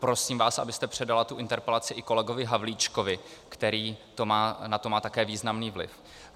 Prosím vás, abyste předala tuto interpelaci i kolegovi Havlíčkovi, který na to má také významný vliv.